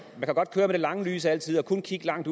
at man godt med det lange lys altid og kun kigge langt